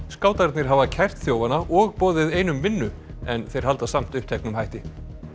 skátarnir hafa kært þjófana og boðið einum vinnu en þeir halda samt uppteknum hætti